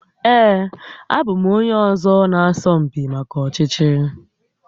Ee, abụ m onye ọzọ nke na asọ mpi maka ọchịchị